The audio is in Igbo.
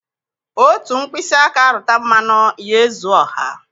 Otu mkpịsị aka rụta mmanụ, ya ezuo ọha